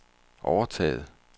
overtaget